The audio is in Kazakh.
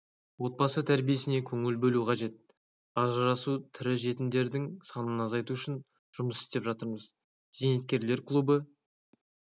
отбасы тәрбиесіне көңіл бөлу қажет ажырасу тірі жетімдердің санын азайту үшін жұмыс істеп жатырмыз зейнеткерлер клубы